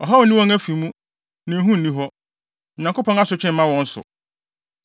Ɔhaw nni wɔn afi mu, na ehu nni hɔ; Onyankopɔn asotwe mma wɔn so.